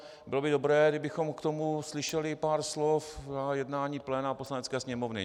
Bylo by dobré, kdybychom k tomu slyšeli pár slov na jednání pléna Poslanecké sněmovny.